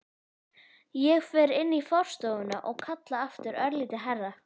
Ég fer inn í forstofuna og kalla aftur, örlítið hærra.